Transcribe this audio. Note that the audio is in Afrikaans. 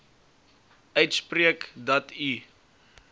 uitspreek dat u